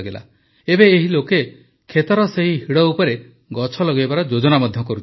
ଏବେ ଏହି ଲୋକେ କ୍ଷେତର ସେହି ହିଡ଼ ଉପରେ ଗଛ ଲଗାଇବାର ଯୋଜନା ମଧ୍ୟ କରୁଛନ୍ତି